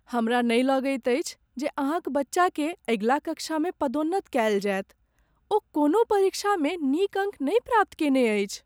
हमरा नहि लगैत अछि जे अहाँक बच्चाकेँ अगिला कक्षामे पदोन्नत कयल जायत। ओ कोनो परीक्षामे नीक अङ्क नहि प्राप्त कयने अछि।